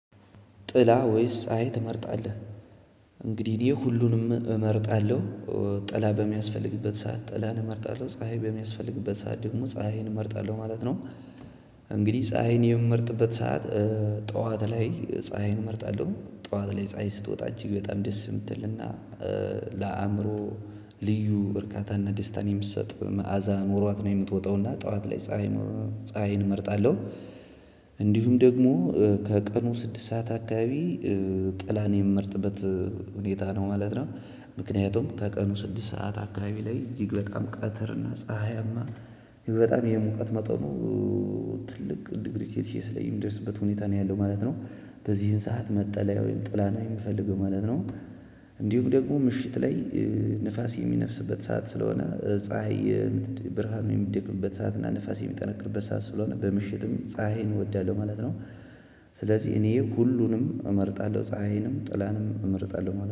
ጥላ ወይስ ፀሀይ ትመርጣለህ? እንግዲህ እኔ ሁሉንም እመርጣለሁ ጥላ በሚያስፈልግበት ሰዓት ጥላ እመርጣለሁ ፀሀይ በሚያስፈልግበት ሰዓት ደግሞ ፀሀይን እመርጣለሁ ማለት ነው። እንግዲህ ፀሀይን የምመርጥበት ሰዓት ጠዋት ላይ ፀሀይን እመርጣለሁ ጠዋት ላይ ፀሀይ ስትወጣ እጅግ በጣም ደስ የምትልና ለአእምሮ ልዩ እርካታና ደስታን የምትሰጥ መዓዛ ኖሯት ነው የምትወጣውና ጠዋት ላይ ፀሀይ ፀሀይን እመርጣለሁ። እንዲሁም ደግሞ ከቀኑ ስድስት ሰዓት አካባቢ ጥላን የምመርጥበት ሁኔታ ነው ማለት ነው። ምክንያቱም ከቀኑ ስድስት ሰዓት አካባቢ ላይ እጅግ በጣም ቀትር እና ፀሀያማ ይህ በጣም የሙቀት መጠኑ ትልቅ ዲግሪ ሰልሴሽ ላይ የሚደርስበት ሁኔታ ነው ያለው ማለት ነው። በዚህን ሰዓት መጠለያ ወይም ጥላ ነው የምፈልገው ማለት ነው። እንዲሁም ደግሞ ምሽት ላይ ንፋስ የሚነፍስበት ሰዓት ስለሆነ ፀሀይ ብርሃን የሚደግፍበት ሰዓት እና ንፋስ የሚጠነቅርበት ሰዓት ስለሆነ በምሽትም ፀሀይን እወዳለሁ ማለት ነው። ስለዚህ እኔ ሁሉንም እመርጣለሁ ፀሀይንም ጥላንም እመርጣለሁ